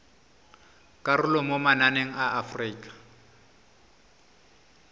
karolo mo mananeng a aforika